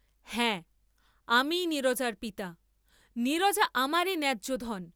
হাঁ, আমিই নীরজার পিতা; নীরজা আমারই ন্যায্যধন!